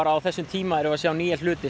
á þessum tíma erum við að sjá nýja hluti